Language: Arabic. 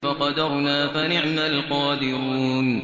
فَقَدَرْنَا فَنِعْمَ الْقَادِرُونَ